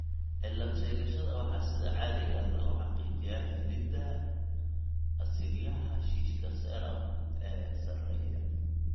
Cilad-sheegashada waxaa sida caadiga ah lagu xaqiijiyaa helidda asiidhyada xashiishka serum ee sarreeya.